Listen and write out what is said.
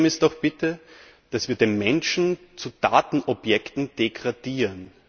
Das Problem ist doch bitte, dass wir die Menschen zu Datenobjekten degradieren.